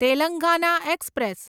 Telangana express